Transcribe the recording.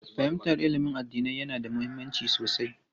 Fahimtar ilimin addinai yana da mahimmanci sosai.